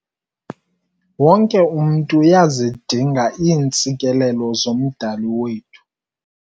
Wonke umntu uyazidinga iintsikelelo zoMdali wethu.